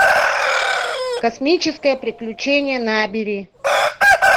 космическое приключение набери